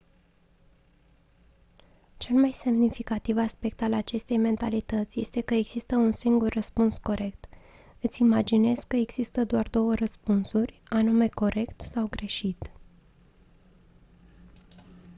cel mai semnificativ aspect al acestei mentalități este că există un singur răspuns corect îți imaginezi că există doar două răspunsuri anume corect sau greșit